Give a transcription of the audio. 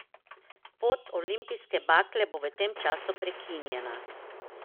Pot olimpijske bakle bo v tem času prekinjena.